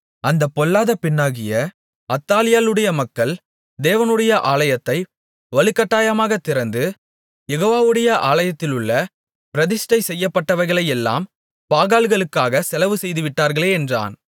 அந்தப் பொல்லாத பெண்ணாகிய அத்தாலியாளுடைய மக்கள் தேவனுடைய ஆலயத்தை வலுக்கட்டாயமாகத் திறந்து யெகோவாவுடைய ஆலயத்திலுள்ள பிரதிஷ்டை செய்யப்பட்டவைகளையெல்லாம் பாகால்களுக்காக செலவு செய்துவிட்டார்களே என்றான்